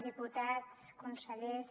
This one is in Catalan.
diputats consellers